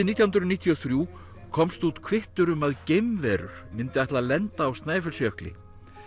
nítján hundruð níutíu og þrjú komst út kvittur um að geimverur myndu ætla að lenda á Snæfellsjökli